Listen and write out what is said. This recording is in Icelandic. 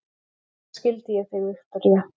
Auðvitað skildi ég þig, Viktoría.